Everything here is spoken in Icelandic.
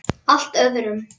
Allir reyndu að forðast það.